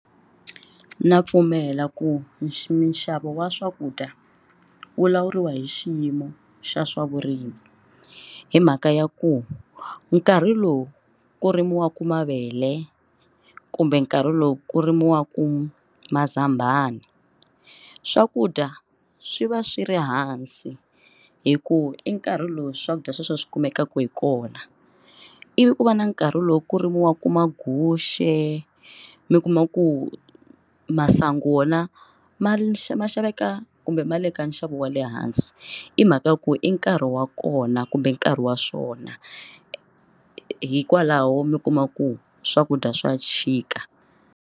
Na pfumela ku minxavo wa swakudya wu lawuriwa hi xiyimo xa swavurimi hi mhaka ya ku nkarhi lowu ku rimiwaka mavele kumbe nkarhi lowu ku rimiwaka mazambana swakudya swi va swi ri hansi hikuva i nkarhi lowu swakudya sweswo swi kumekaka hi kona ivi ku va na nkarhi lowu ku rimiwaka maguxe mi kuma ku masangu wona ma ma xaveka kumbe ma le ka nxavo wa le hansi i mhaka ya ku i nkarhi wa kona kumbe nkarhi wa swona hikwalaho mi kuma ku swakudya swa xika.